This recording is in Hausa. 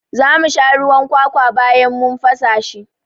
Za mu sha ruwan kwakwa bayan mun fasa shi.